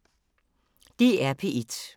DR P1